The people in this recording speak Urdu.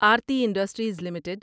Aarti industries limited